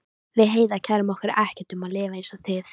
Við Heiða kærum okkur ekkert um að lifa einsog þið.